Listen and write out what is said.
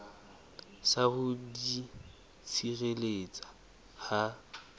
sa ho di tshireletsa ha